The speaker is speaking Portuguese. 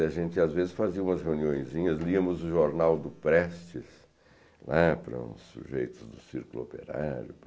E a gente, às vezes, fazia umas reuniõezinhas, liamos o jornal do Prestes, né, para uns sujeitos do círculo operário,